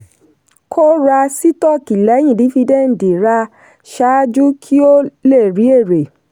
kó ra sítọ́ọ̀kì lẹ́yìn dífídẹ́ǹdì ra ṣáájú kí o lè rí èrè.